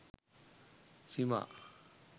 cima